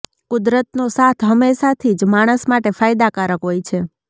કુદરતનો સાથ હમેશા થી જ માણસ માટે ફાયદાકારક હોય છે